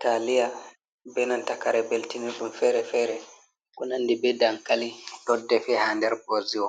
Taaliya beenanta kare beltinirɗum feere-feere, konanndi bee dankali ɗoddefe haa nder boziwo,